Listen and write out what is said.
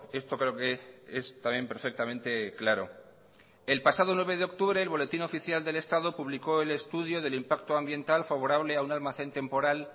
esto creo que es también perfectamente claro el pasado nueve de octubre el boletín oficial del estado publicó el estudio del impacto ambiental favorable a un almacén temporal